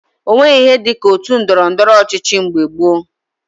O nweghi ihe dị ka otu ndọrọndọrọ ọchịchị mgbe gboo